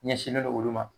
Ɲɛsinnen don olu ma